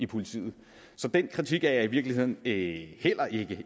politiet så den kritik er jeg i virkeligheden ikke